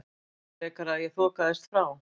Frekar að ég þokaðist frá.